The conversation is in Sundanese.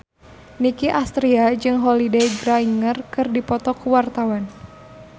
Nicky Astria jeung Holliday Grainger keur dipoto ku wartawan